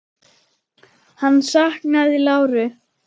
Hann saknaði láru.